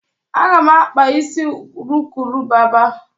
Aga m akpa isi urukurubaba.